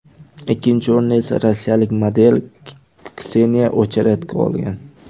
Ikkinchi o‘rinni esa rossiyalik model Kseniya Ocheredko olgan.